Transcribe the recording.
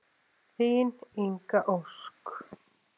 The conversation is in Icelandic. Þín Inga Ósk.